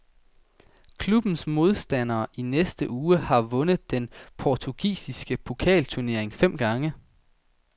Klubbens modstander i næste uge har vundet den portugisiske pokalturnering fem gange.